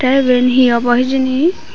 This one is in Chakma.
te eben he obo hejeni.